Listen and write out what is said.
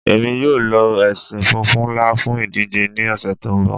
Ẹ̀mi yọ̀ lo ẹ̀ṣin fúnfún nlá fún ìdíjè ní ọṣẹ̀ tó nbọ̀